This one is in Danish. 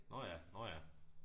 Nåh ja nåh ja